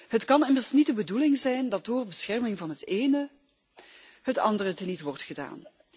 Het kan immers niet de bedoeling zijn dat door bescherming van het ene het andere teniet wordt gedaan.